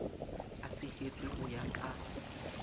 a sehetswe ho ya ka